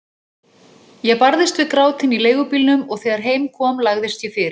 Ég barðist við grátinn í leigubílnum og þegar heim kom lagðist ég fyrir.